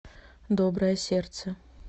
доброе сердце